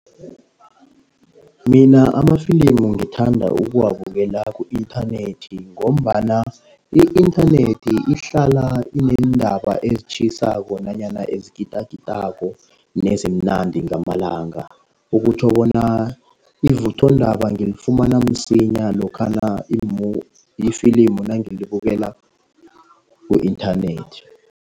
Mina amafilimu ngithanda ukuwabukela ku-inthanethi ngombana i-inthanethi ihlala ineendaba ezitjhisako, nanyana ezikitakitako neziimnandi ngamalanga. Okutjho bona ivuthondaba ngilifumana msinya lokhana lifilimu nangilibukela ku-inthanethi.